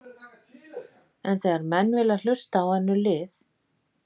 En þegar menn vilja hlusta á önnur lið?